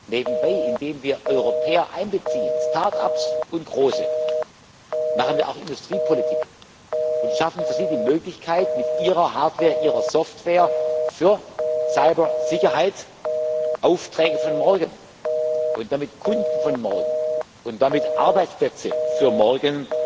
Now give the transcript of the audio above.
Nebenbei machen wir indem wir Europäer einbeziehen, Startups und Große, auch Industriepolitik und schaffen für sie die Möglichkeit mit ihrer Hardware, mit ihrer Software für Cybersicherheit Aufträge von morgen und damit Kunden von morgen und damit Arbeitsplätze für morgen